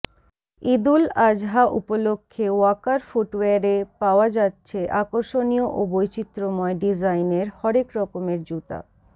ঈদুল আজহা উপলক্ষে ওয়াকার ফুটওয়্যারে পাওয়া যাচ্ছে আকর্ষণীয় ও বৈচিত্র্যময় ডিজাইনের হরেক রকমের জুতা